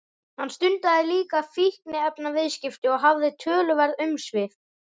Hann stundaði líka fíkniefnaviðskipti og hafði töluverð umsvif.